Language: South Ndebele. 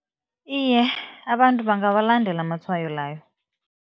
Iye, abantu bangawalandela amatshwayo layo.